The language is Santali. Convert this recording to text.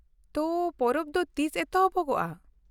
ᱛᱚ, ᱯᱚᱨᱚᱵ ᱫᱚ ᱛᱤᱥ ᱮᱛᱚᱦᱚᱵᱚᱜᱼᱟ ?